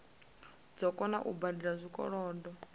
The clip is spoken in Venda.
dzo kona u badela zwikolodo